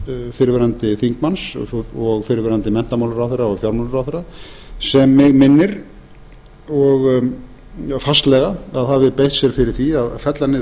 fyrrverandi þingmanns og fyrrverandi menntamálaráðherra og fjármálaráðherra sem mig minnir fastlega að hafi beitt sér fyrir því að fella niður